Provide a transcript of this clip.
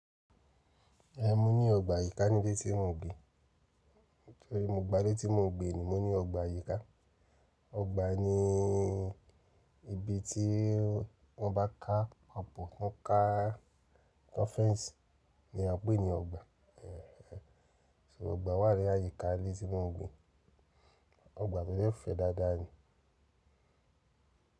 Ẹ̀, mo ní ọgbà àyíká nílé tí mo ń gbé. Torí mo gba ilé tí mo ń gbé ni, mo ní ọgbà àyíká. Ọgbà ni ibi tí wọ́n bá ka apò, to ká to n fence ni a ń pè ní ọgbà. Ẹ̀, ẹ̀, so ọgbà wà ní àyíká ilé tí mo ń gbé. Ọgbà mi de fẹ́ dáadáa ni.